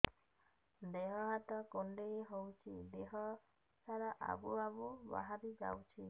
ଦିହ ହାତ କୁଣ୍ଡେଇ ହଉଛି ଦିହ ସାରା ଆବୁ ଆବୁ ବାହାରି ଯାଉଛି